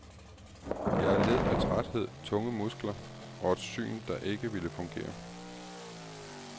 Jeg led af træthed, tunge muskler, og et syn, der ikke ville fungere.